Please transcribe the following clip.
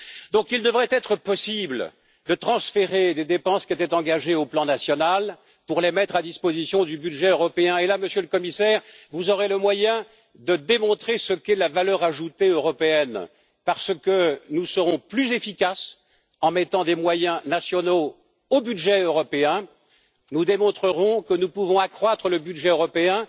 Donc, il devrait être possible de transférer des dépenses qui étaient engagées au plan national, pour les mettre à disposition du budget européen et là, Monsieur le Commissaire, vous aurez le moyen de démontrer ce qu'est la valeur ajoutée européenne parce que nous serons plus efficaces en mettant des moyens nationaux au budget européen. Nous démontrerons que nous pouvons accroître le budget européen